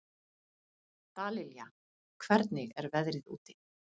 Dallilja, hvernig er veðrið úti?